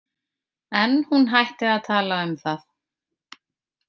En hún hætti að tala um það.